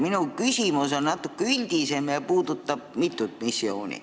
Minu küsimus on natuke üldisem ja puudutab mitut missiooni.